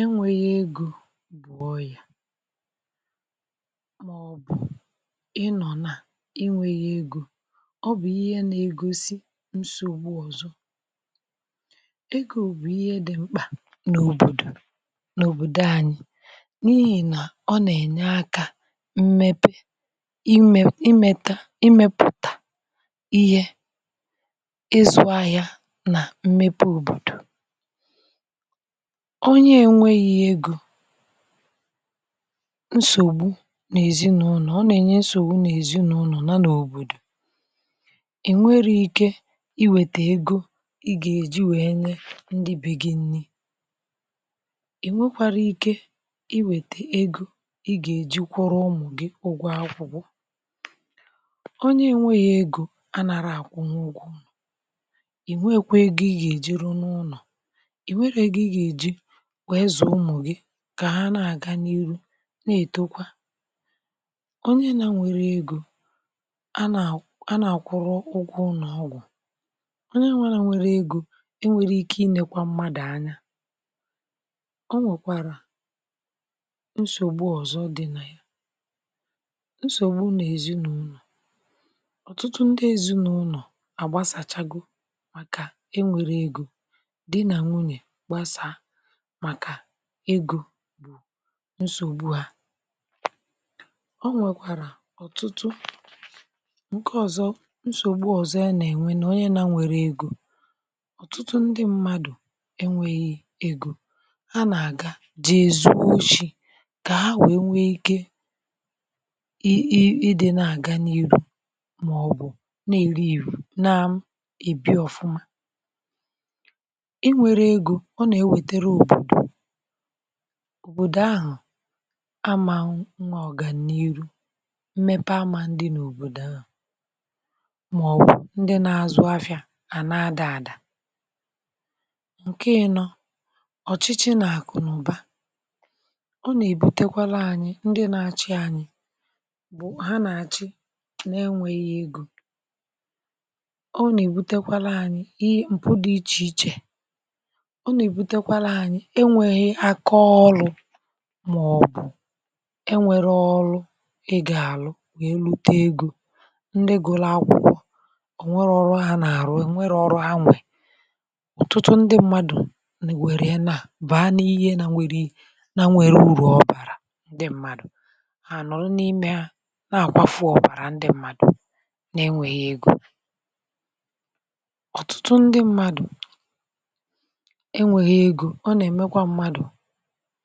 Enweghị ego bụ ọyà, maọbụ̀ ịnọ̀ nà inwèghị ego. Ọbụ̀ ihe nà-egosi nsògbu ọzọ. Ego bụ̀ ihe dị́ mkpa n’òbòdò anyị,... n’ihi nà ọ nà-ènye aka um n’ìmèpe ime, ịmèta, imepụ̀ta ihe, ịzụ́ ahịa, nà mmepe òbòdò. Onye enweghì ego, nsògbu n’èzinụlọ̀ adịghị akwụsị. Ọ nà-enye nsògbu n’èzinụlọ̀ nà n’òbòdò... Ị nwere ike iwètè ego ị gà-èji wee nye ndị be gị nri. Ị nwekwara ike iwètè ego ị gà-èji kwụrụ ụmụ̀ gị ụgwọ́ akwụkwọ. Onye nweghì ego, um a nà-ara àkwụ n’ụgwọ́. Ị nwekwa ego ị gà-èjiri n’ụlọ̀ wee zà ụmụ̀ gị, kà ha na-àga n’ihu. um Nà-ètekwa onye na nwere ego, a nà-àkwụ ụgwọ́ ụlọ̀ ọgwụ́. Onye nwere ike inèkwà mmadụ̀ anya, o nwekwàrà nsògbu ọzọ dị na nsògbu nà ezinụ́lọ̀. Ọ̀tụtụ ndị ezinụ̀lọ̀ àgbasàchago,.. màkà e nwèrè ego dị nà nwunye gbasaa nsògbu. Ọ nwekwàrà ọ̀tụtụ nke ọzọ, nsògbu ọzọ, ya nà enwe nà onye na nwèrè ego. Ọ̀tụtụ ndị mmadụ̀ enwėyé ego, a nà-àga jì zùo shì, kà ha wèe nwè ike um ịdị́ nà àga n’iru. Ma ọ̀ bụ̀ nà èri ìrù nà m-ebi ọ̀fụma, òbòdò ahụ̀ amà nwa ọ̀gàniru, mmepe amà ndị n’òbòdò ahụ̀, maọ̀bụ̀ ndị na-azụ ahịa, à na-adà àdà. Nke ị nọ, ọchịchị nà àkụ̀ n’ụ̀ba, ọ nà-èbutekwara ànyị, ndị na-achị ànyị bụ̀ ha nà-àchị nà-enwèghị ego. Ọ nà-èbutekwara ànyị ihe m̀pụ dị iche iche enwèghị àkọọ ọlụ̇, maọbụ̇ enwelè ọlụ̀ ị gà-àlụ nà-elute ego. Ndị gụla akwụkwọ ò nwere ọrụ ahụ̀ nà-arụ? E nwere ọrụ anwụ́! Ọ̀tụtụ ndị mmadụ̀ nà-èwere ya nà baa n’ihe nà m̀wèrè um i nà nwèrè uru ọ̀bàrà. Ndị mmadụ̀ ha nọ̀rọ n’ime ahụ̀ nà-àkwàfù ọ̀bàrà... Ndị mmadụ̀ nà-enwèghị ego ọ̀tụtụ n’ime ha, um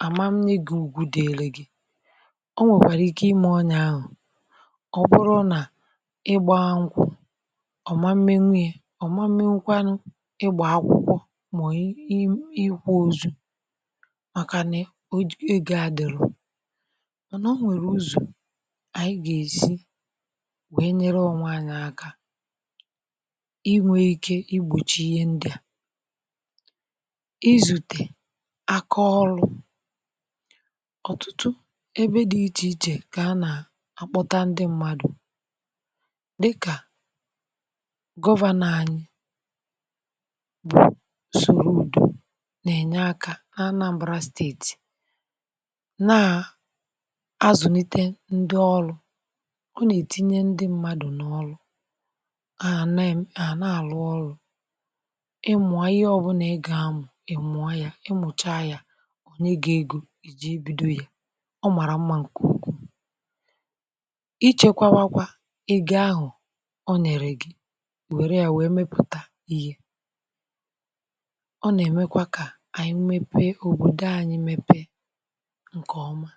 àma m nye gị ùgwù, dị ele gị, o nwekwàrà ike imà onye ahụ̀. Ọ bụrụ nà ị gbà ha nkwụ́, ọ̀ma, mmènu ya ọ̀ma, mmèkwanụ ịgbà akwụkwọ, maọ̀bụ̀ ịikwà ozu̇. Màkànà o oge à dòrò ọ̀, nà o nwèrè ozu̇ ànyị gà-èsi wee nyere ọnwụ́ anya,.. aka inwè ike igbòchi ihe ndị a. Ọ̀tụtụ ebe dị iche iche kà a nà-akpọta ndị mmadụ̀, dịkà gọvanọ̀ anyị bụ̀ Sọlọ Ụdọ̇, nà-ènye aka n’ Anambra Steeti. N’azụ̀nite ndị ọlụ̇, ọ nà-ètinye ndị mmadụ̀ n’ọlụ̇ à nà-àlụ, ọlụ̇ iji bido ya. Ọ màrà mma, um nkùkù ịchekwa, wakwa ị gị ahụ̀. Ọ nà-ère gị, wèrè ya, wèe mepụ̀ta ihe. Ọ nà-èmekwa kà ànyị mepe òbòdò ànyị, mepe nke ọ̀ma.